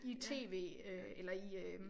I TV eller i øh